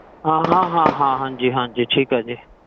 ਹਾਂ ਹਾਂ ਹਾਂ ਹਾਂਜੀ